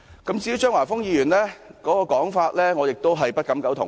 至於張華峰議員的說法，我也不敢苟同。